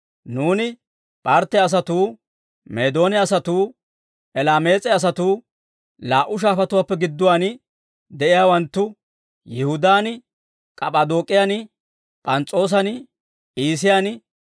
Nuuni P'artte asatuu, Meedoone asatuu, Elaamees'e asatuu, laa"u shaafatuwaappe gidduwaan de'iyaawanttu, Yihudaan, K'ap'p'adook'iyan, P'ans's'oossan, Iisiyaan,